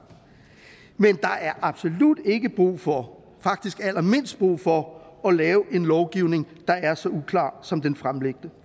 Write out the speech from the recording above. men der er absolut ikke brug for faktisk allermindst brug for at lave en lovgivning der er så uklar som den fremlagte